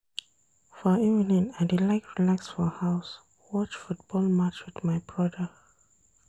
For evening, I dey like relax for house, watch football match wit my broda.